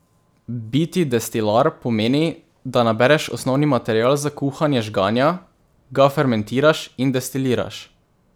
Biti destilar pomeni, da nabereš osnovni material za kuhanje žganja, ga fermentiraš in destiliraš.